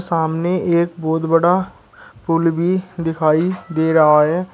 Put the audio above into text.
सामने एक बहुत बड़ा पुल भी दिखाई दे रहा है।